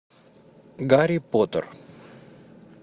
гарри поттер